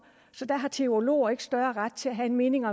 så der har teologer ikke større ret til at have en mening